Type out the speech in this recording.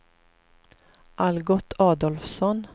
Algot Adolfsson